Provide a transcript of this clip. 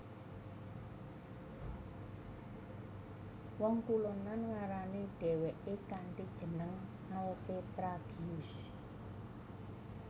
Wong kulonan ngarani dheweke kanthi jeneng Alpetragius